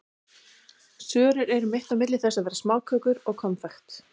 Sörur eru mitt á milli þess að vera smákökur og konfekt.